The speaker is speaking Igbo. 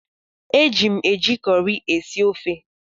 Eji m eji cọrị esi ofe.